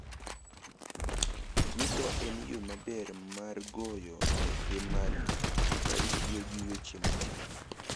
Twitter en yo maber mar goyo ote mari ka itiyo gi weche matin.